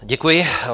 Děkuji.